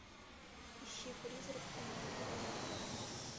ищи призрак у маяка